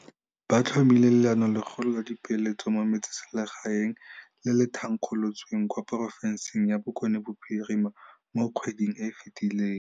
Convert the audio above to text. Ba tlhomile Leanolegolo la Dipeeletso mo Metsesele gaeng, le le thankgolotsweng kwa porofenseng ya Bokone Bophirima mo kgweding e e fetileng.